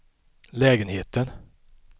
lägenheten